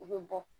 U bɛ bɔ